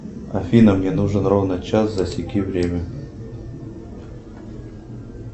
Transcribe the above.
афина мне нужен ровно час засеки время